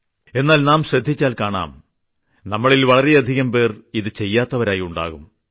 എന്നാൽ നാം ശ്രദ്ധിച്ചാൽ കാണാം നമ്മളിൽ വളരെയധികം പേർ ഇത് ചെയ്യാത്തവരായി ഉണ്ടാകും